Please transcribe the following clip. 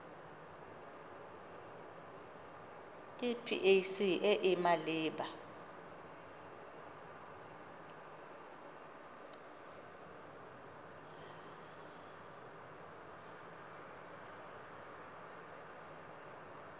ke pac e e maleba